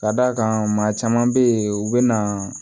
Ka d'a kan maa caman bɛ yen u bɛ na